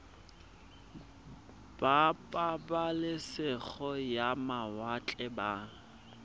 ba pabalesego ya mawatle ba